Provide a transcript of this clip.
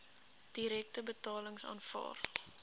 direkte betalings aanvaar